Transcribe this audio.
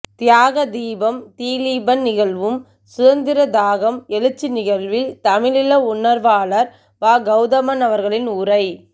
தியாகதீபம் திலீபன் நிகழ்வும் சுதந்திரதாகம் எழுச்சி நிகழ்வில் தமிழீழ உணர்வாளர் வா கௌதமன் அவர்களின் உரை